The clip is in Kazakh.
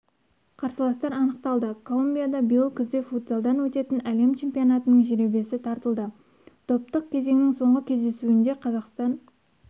қарсыластар анықталды колумбияда биыл күзде футзалдан өтетін әлем чемпионатының жеребесі тартылды топтық кезеңнің соңғы кездесуінде қазақстан